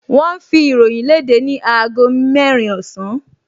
Wọ́n ń fi ìròyìn léde ni aago mẹ́rin ọ̀sán